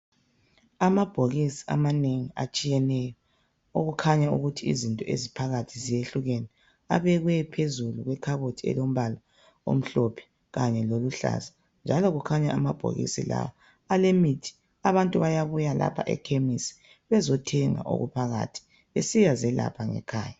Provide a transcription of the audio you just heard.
Amabhokisi amanengi atshiyeneyo okukhanya ukuthi izinto eziphakathi zehlukene abekwe phezulu kwekhabothi elombala omhlophe kanye loluhlaza njalo kukhanya amabhokisi lawa alemithi. Abantu bayabuya lapha ekhemisi bezothenga okuphakathi besiyazelapha ngekhaya.